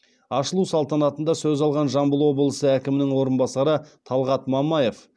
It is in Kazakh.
ашылу салтанатында сөз алған жамбыл облысы әкімінің орынбасары талғат мамаев